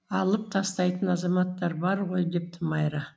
алып тастайтын азаматтар бар ғой депті майра